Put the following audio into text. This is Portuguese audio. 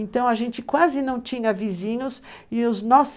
Então a gente quase não tinha vizinhos e os nossos